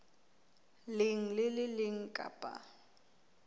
leng le le leng kapa